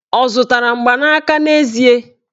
Ọ zụtara mgbanaka n'ezie?